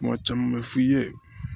Kuma caman bɛ f'i ye